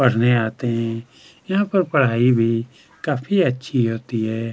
पढ़ने आते हैं यहाँ पर पढ़ाई भी काफी अच्छी होती है।